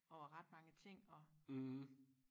over ret mange ting og